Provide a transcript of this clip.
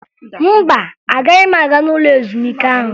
Mba, agaghị m aga n'ụlọ ezumike ahụ